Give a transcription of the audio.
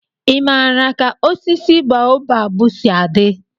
ị maara ka osisi baobabu si adị?